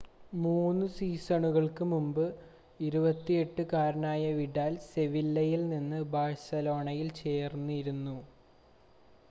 3 സീസണുകൾക്ക് മുമ്പ് 28 കാരനായ വിഡാൽ സെവില്ലയിൽ നിന്ന് ബാഴ്സയിൽ ചേർന്നിരുന്നു